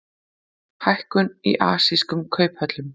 Hækkun í asískum kauphöllum